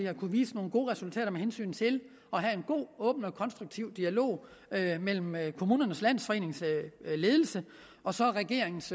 har kunnet vise nogle gode resultater med hensyn til at have en god åben og konstruktiv dialog mellem kommunernes landsforenings ledelse og så regeringens